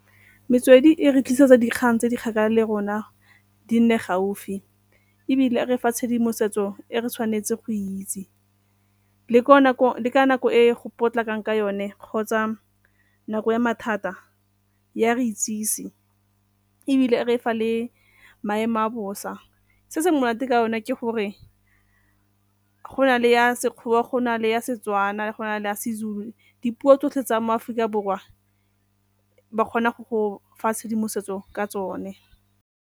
Metswedi e re tlisetsa dikgang tse di kgakala le rona di nne gaufi ebile re fa tshedimosetso e re tshwanetse go itse. Le ko nako e go potlakeng ka yone kgotsa nako ya mathata e a re itsise ebile e re fa le maemo a bosa. Se se monate ka yone ke gore go na le ya Sekgowa, go na le ya Setswana, go na le a seZulu, dipuo tsotlhe tsa mo Aforika Borwa ba kgona go fa tshedimosetso ka tsone.